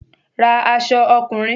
Ra aṣọ ọkùnrin!